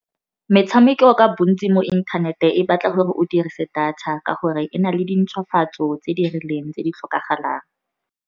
Metshameko ka bontsi mo inthanete, e batla gore o dirise data ka gore e na le di ntshwafatso tse di rileng tse di tlhokagalang.